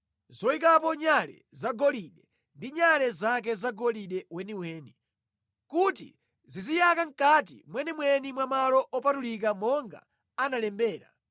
zoyikapo nyale zagolide ndi nyale zake zagolide weniweni, kuti ziziyaka mʼkati mwenimweni mwa malo opatulika monga analembera,